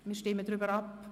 wir stimmen darüber ab.